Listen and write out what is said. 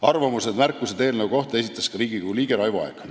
Arvamusi ja märkusi eelnõu kohta esitas ka Riigikogu liige Raivo Aeg.